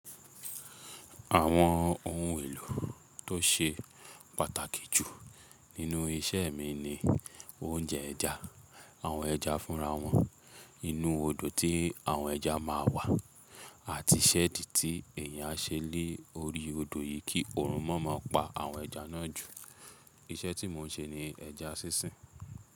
Àwọn ohun èlò tó ṣe pàtàkì jù nínú isẹ́ mi ni oúnjẹ ẹja, àwọn ẹja fúnra wọn, inú odò tí àwọn ẹja máa wà, àti ṣẹ́ẹ̀dì tí èèyàn á ṣe lé ori odò yìí kí òrúnmọ́ má pa àwọn ẹja náà jù. Iṣẹ́ tí mò ń ṣe ni ẹja sísìn.